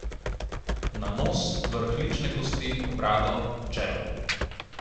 Na nos, vrh lične kosti, brado, čelo.